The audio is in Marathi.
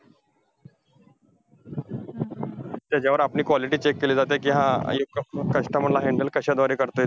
त्याच्यावरून आपली quality check केली जाते कि हा, हे customer ला handle कशाद्वारे करताय.